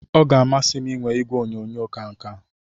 Ọ ga-amasị m inwe igwe onyonyo ka nke a